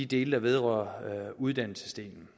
del der vedrører uddannelsesdelen